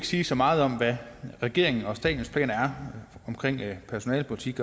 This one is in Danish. sige så meget om hvad regeringen og statens planer er omkring personalepolitik